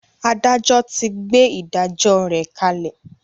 Adájọ ti gbé “ ìdájọ ” rẹ̀ kalẹ̀.